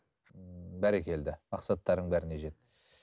бәрекелді мақсаттарыңның бәріне жет